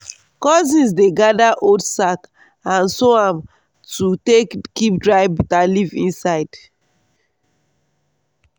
cousins dey gather old sack and sew am to take keep dry bitterleaf inside.